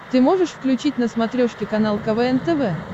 ты можешь включить на смотрешке канал квн тв